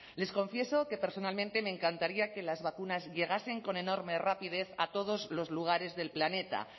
les confieso que personalmente me encantaría que las vacunas llegasen con enorme rapidez a todos los lugares del planeta